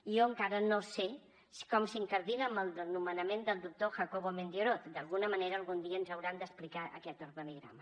i jo encara no sé com s’incardina amb el nomenament del doctor jacobo mendioroz d’alguna manera algun dia ens hauran d’explicar aquest organigrama